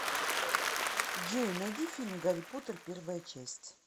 джой найди фильм гари потер первая часть